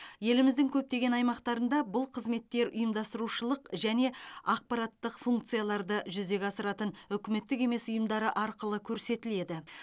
еліміздің көптеген аймақтарында бұл қызметтер ұйымдастырушылық және ақпараттық функцияларды жүзеге асыратын үкіметтік емес ұйымдары арқылы көрсетіледі